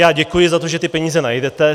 Já děkuji za to, že ty peníze najdete.